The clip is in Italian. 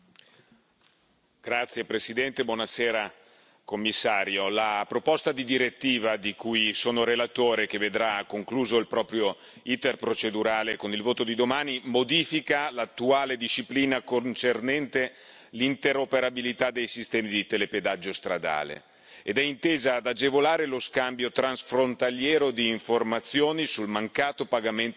Signor Presidente, onorevoli colleghi, signora Commissario, la proposta di direttiva di cui sono relatore, che vedrà concluso il proprio iter procedurale con il voto di domani, modifica l'attuale disciplina concernente l'interoperabilità dei sistemi di telepedaggio stradale ed è intesa ad agevolare lo scambio transfrontaliero di informazioni sul mancato pagamento dei pedaggi